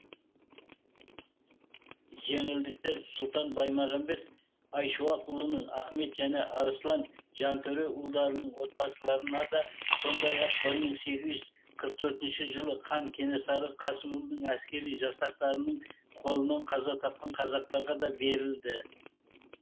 жеңілдіктер сұлтан баймағамбет айшуақұлының ахмет және арыслан жантөре ұлдарының отбасыларына да сондай ақ бір мың сегіз жүз қырық төртінші жылы хан кенесары қасымұлының әскери жасақтарының қолынан қаза тапқан қазақтарға да берілді